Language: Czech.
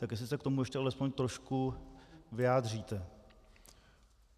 Tak jestli se k tomu ještě alespoň trošku vyjádříte.